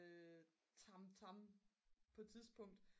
tamtam på et tidspunkt